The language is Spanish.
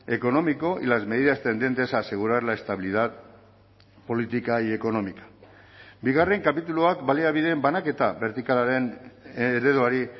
económico y las medidas tendentes a asegurar la estabilidad política y económica bigarren kapituluak baliabideen banaketa bertikalaren ereduari